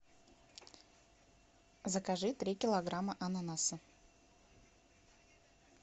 закажи три килограмма ананаса